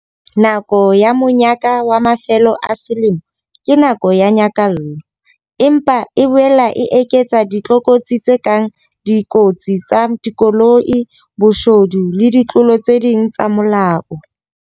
Nako ya monyaka wa mafelo a selemo ke nako ya nyakallo. Empa e boela e eketsa ditlokotsi tse kang dikotsi tsa dikoloi, boshodu le ditlolo tse ding tsa molao.